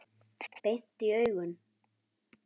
Beint í augun.